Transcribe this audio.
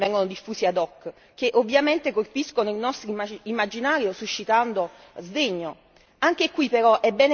Altro poi sono i video che vengono diffusi ad hoc, che ovviamente colpiscono il nostro immaginario suscitando sdegno.